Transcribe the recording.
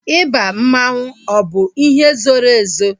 Ịba mmanwu ọ bụ ihe zoro ezo?